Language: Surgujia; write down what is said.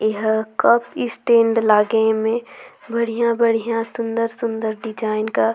इहा कप स्टैंड लागे एमे बढ़िया-बढ़िया सुंदर-सुंदर डिजाइन का--